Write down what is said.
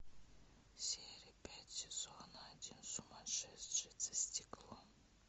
серия пять сезон один сумасшедший за стеклом